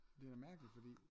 Det er da mærkeligt fordi